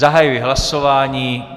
Zahajuji hlasování.